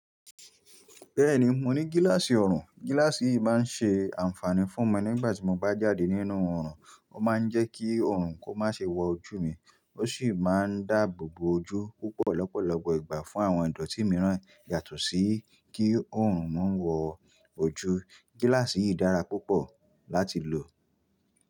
Bẹ́ẹ̀ni mo ní gíláàsì ọrùn. Gíláàsì yìí máa ń ṣe ànfààní fún mi nígbà tí mo bá jáde nínú ọrùn. Ó máa ń jẹ́ kí ọrùn kó má ṣe wọ ojú mi. Ó sì máa ń dáàbò bo ojú púpọ̀ lọ́pọ̀lọpọ̀ ìgbà fún àwọn ìdọ̀tí mìíràn yàtọ̀ sí kí ọrùn má wọ ojú. Gíláàsì yìí dára púpọ̀ láti lò.